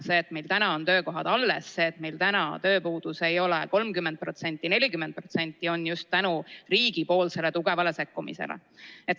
See, et meil täna on töökohad alles, et meil tööpuudus ei ole 30 või 40%, on just tänu riigi tugevale sekkumisele.